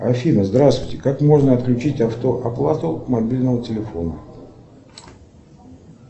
афина здравствуйте как можно отключить автооплату мобильного телефона